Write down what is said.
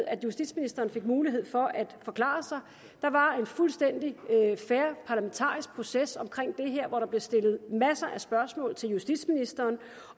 at justitsministeren fik mulighed for at forklare sig der var en fuldstændig fair parlamentarisk proces i her hvor der blev stillet masser af spørgsmål til justitsministeren